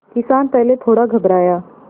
किसान पहले थोड़ा घबराया